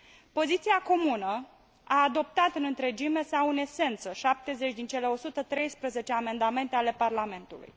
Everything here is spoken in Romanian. Poziția comună a adoptat în întregime sau în esență 70 din cele 113 amendamente ale Parlamentului.